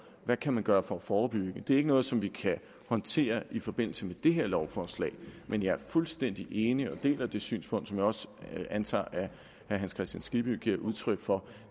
man kan gøre for at forebygge det er ikke noget som vi kan håndtere i forbindelse med det her lovforslag men jeg er fuldstændig enig i og deler det synspunkt som jeg også antager at herre hans kristian skibby giver udtryk for